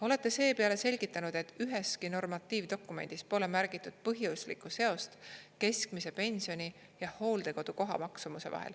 Olete seepeale selgitanud, et üheski normatiivdokumendis pole märgitud põhjuslikku seost keskmise pensioni ja hooldekodu koha maksumuse vahel.